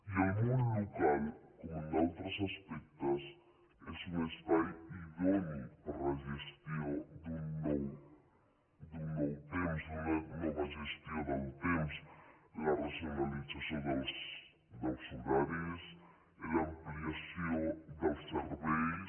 i el món local com en altres aspectes és un espai idoni per a la gestió d’un nou temps d’una nova gestió del temps en la racionalització dels horaris en l’ampliació dels serveis